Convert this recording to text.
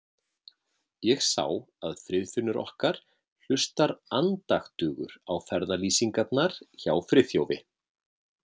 Ég sá að Friðfinnur okkar hlustar andaktugur á ferðalýsingarnar hjá Friðþjófi.